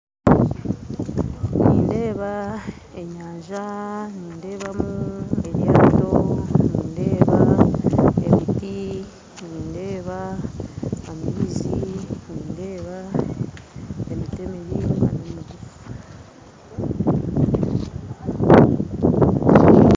Nindeeba enyanja nindebamu eryato nindeeba emiti, nindeeba amaizi nindeeba emiti emiringwa mingyi